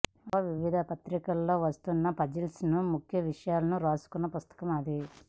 లో వివిధ పత్రికల్లో వస్తున్న పజిల్స్ని ముఖ్య విషయాలని రాసుకున్న పుస్తకం అది